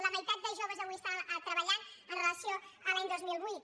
la meitat de joves avui estan treballant amb relació a l’any dos mil vuit